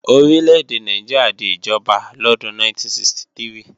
Orí lédè Nàìjíríà di ìjọba lọ́dún 1963